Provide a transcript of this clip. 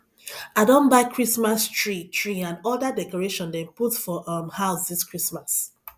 i don buy christmas tree tree and oda decoration dem put for um house dis christmas